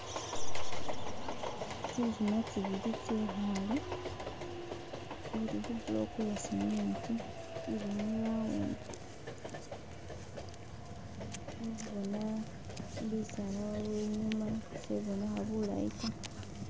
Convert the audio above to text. Tsi khima tsibili tsekhale uri khu block ye cement ili mu round khe khubona bisala waliwo inyuma sekhebonekha bulayi ta.